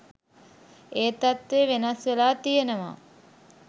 ඒ තත්වේ වෙනස් වෙලා තියනවා